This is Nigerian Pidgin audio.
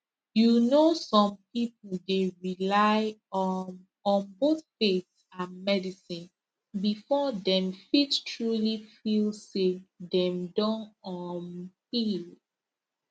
you know some people dey rely um on both faith and medicine before dem fit truly feel say dem don um heal